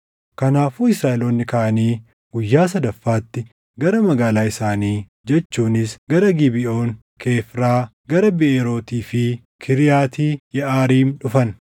Kanaafuu Israaʼeloonni kaʼanii guyyaa sadaffaatti gara magaalaa isaanii jechuunis gara Gibeʼoon, Kefiiraa, gara Biʼeerootii fi Kiriyaati Yeʼaariim dhufan.